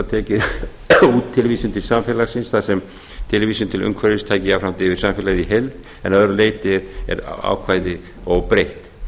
út tilvísun til samfélagsins þar sem tilvísun til umhverfis taki jafnframt yfir samfélagið heild að en að öðru leyti er ákvæðið óbreytt